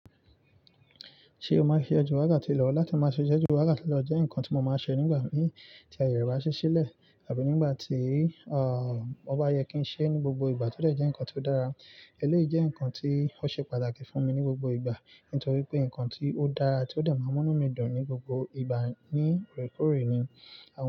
Ṣé o máa ṣe ọjọ́ ìwárà tí lọ́wọ́ láti máa ṣe ọjọ́ ìwárà tí lọ́wọ́ jẹ́ nǹkan tí mo máa ṣe nígbà tí ayẹyẹ wa ṣe ṣílẹ̀ àbí nígbà tí, ah, ó bá yẹ kí n ṣe ní gbogbo ìgbà tó jẹ́ nǹkan tí ó dára. Eléyìí jẹ́ nǹkan tí ó ṣe pàtàkì fún mi ní gbogbo ìgbà nítorí pé nǹkan tí ó dára tí ó dà máa múnú mi dùn ní gbogbo ìgbà ní ìkórè ni.